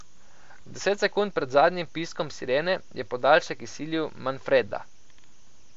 Deset sekund pred zadnjim piskom sirene je podaljšek izsilil Manfreda.